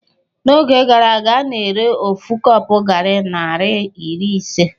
N'oge gara aga a na-ere ofu kọpu gari naira iri ise.